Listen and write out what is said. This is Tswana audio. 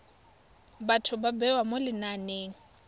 batho ba bewa mo lenaneng